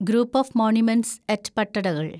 group of monuments at Pattadakal